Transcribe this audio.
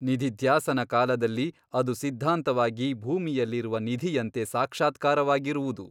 ನಿಧಿಧ್ಯಾಸನ ಕಾಲದಲ್ಲಿ ಅದು ಸಿದ್ಧಾಂತವಾಗಿ ಭೂಮಿಯಲ್ಲಿರುವ ನಿಧಿಯಂತೆ ಸಾಕ್ಷಾತ್ಕಾರವಾಗಿರುವುದು.